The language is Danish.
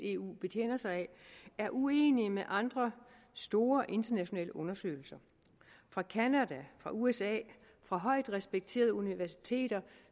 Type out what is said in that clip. eu betjener sig af er uenig med resultaterne fra andre store internationale undersøgelser fra canada fra usa fra højt respekterede universiteter